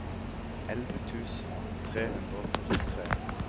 elleve tusen tre hundre og førtitre